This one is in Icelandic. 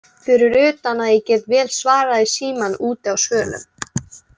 Fyrir utan að ég get vel svarað í símann úti á svölum.